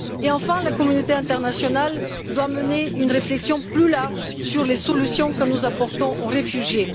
Enfin, la communauté internationale doit mener une réflexion plus large sur les solutions que nous apportons aux réfugiés.